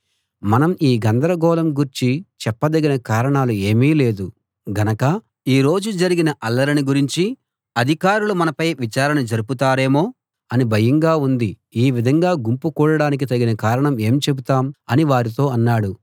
మనం ఈ గందరగోళం గూర్చి చెప్పదగిన కారణం ఏమీ లేదు గనక ఈ రోజు జరిగిన అల్లరిని గురించి అధికారులు మనపై విచారణ జరుపుతారేమో అని భయంగా ఉంది ఈ విధంగా గుంపు కూడడానికి తగిన కారణం ఏం చెబుతాం అని వారితో అన్నాడు